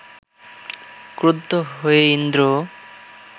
ক্রুদ্ধ হয়ে ইন্দ্র